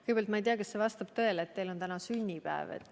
Kõigepealt, ma ei tea, kas see vastab tõele, et teil on täna sünnipäev.